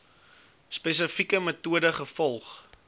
spesifieke metode gevolg